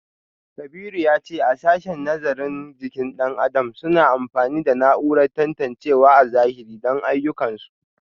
Kabiru ya ce a sashen nazarin jikin dan adam suna amfani da na’urar tantancewa a zahiri don ayyukansu